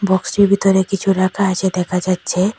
বক্সটির ভিতরে কিছু রাখা আছে দেখা যাচ্ছে।